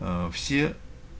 аа все